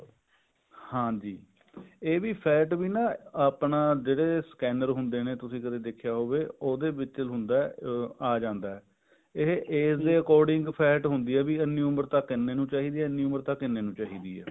ਹਾਂਜੀ ਇਹ ਵੀ fat ਵੀ ਨਾ ਆਪਣਾ ਜਿਹੜੇ scanner ਹੁੰਦੇ ਨੇ ਤੁਸੀਂ ਕਦੇ ਦੇਖਿਆ ਜਾਵੇ ਉਹਦੇ ਵਿੱਚ ਹੁੰਦਾ ਆ ਜਾਂਦਾ ਇਹ age ਦੇ according fat ਹੁੰਦੀ ਆ ਵੀ ਇੰਨੀ ਉਮਰ ਤੱਕ ਇੰਨੇ ਨੂੰ ਚਾਹੀਦੀ ਹੈ ਇੰਨੀ ਉਮਰ ਤੱਕ ਇੰਨੇ ਨੂੰ ਚਾਹੀਦੀ ਹੈ